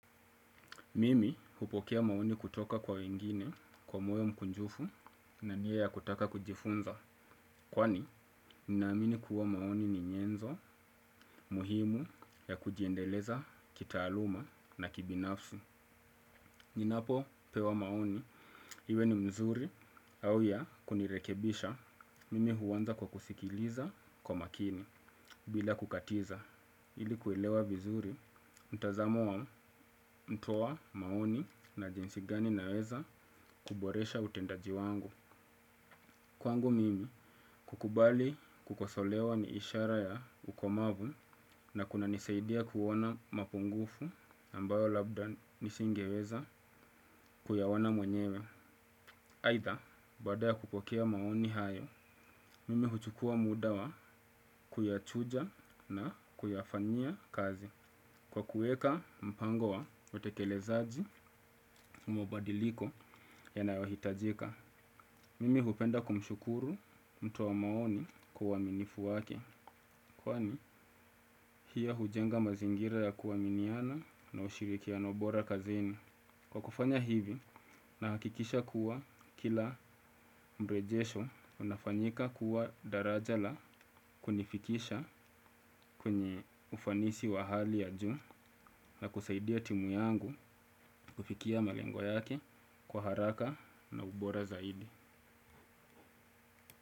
Mimi hupokea maoni kutoka kwa wengine kwa moyo mkunjufu na nia ya kutaka kujifunza. Kwani, ninaamini kuwa maoni ni nyenzo, muhimu ya kujiendeleza kitaaluma na kibinafsi. Ninapopewa maoni, iwe ni mzuri au ya kunirekebisha. Mimi huanza kwa kusikiliza kwa makini, bila kukatiza. Ili kuelewa vizuri, mtazamo wa mtoa maoni na jinsi gani ninaweza kuboresha utendaji wangu. Kwangu mimi kukubali kukosolewa ni ishara ya ukomavu na kunanisaidia kuona mapungufu ambayo labda nisingeweza kuyaowana mwenyewe. Aidha, baada kukopokea maoni hayo, mimi huchukua muda wa kuyachuja na kuyafanyia kazi. Kwa kueka mpango wa watekelezaji mabadiliko yanayohitajika, mimi hupenda kumshukuru mtu wa maoni kwa uaminifu wake, kwani pia hujenga mazingira ya kua miniana na ushirikiano bora kazini. Kwa kufanya hivi, nahakikisha kuwa kila mrejesho unafanyika kuwa daraja la kunifikisha kwenye ufanisi wahali ya juu na kusaidia timu yangu kufikia malengo yake kwa haraka na ubora zaidi.